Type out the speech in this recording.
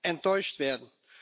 enttäuscht werden.